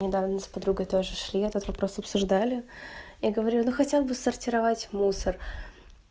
недавно мы с подругой тоже шли этот вопрос обсуждали я говорю ну хотя бы сортировать мусор